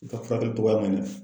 I ka furakɛli cogoya man ɲɛ.